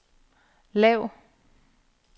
lav